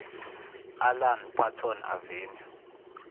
alan paton avenue